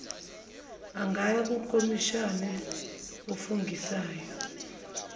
angaya kukhomishina ofungisayo